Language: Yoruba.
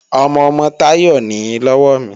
Ọmọ-ọmọ Táyọ̀ nìí lọ́wọ́ mi